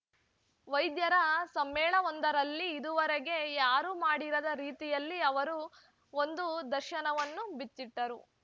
ವೈದ್ಯರ ಸಮ್ಮೇಳನವೊಂದರಲ್ಲಿ ಇದುವರೆಗೆ ಯಾರೂ ಮಾಡಿರದ ರೀತಿಯಲ್ಲಿ ಅವರು ಒಂದು ದರ್ಶನವನ್ನು ಬಿಚ್ಚಿಟ್ಟರು